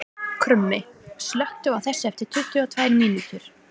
Krummi, slökktu á þessu eftir tuttugu og tvær mínútur.